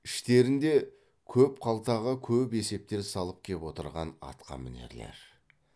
іштерінде көп қалтаға көп есептер салып кеп отырған атқамінерлер